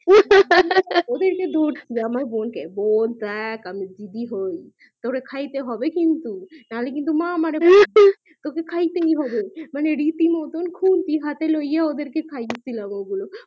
হা হা ওদের কে আমার বোন কে দেখ আমি দিদি হয় তোরে খাইতে হবে কিন্তু নাহলে কিন্তু মা আমারে হা হা তোকে খাইতে হবে ওদের কে রীতি মতোন খুন্তি হাতে লইয়া খাইয়েছিলাম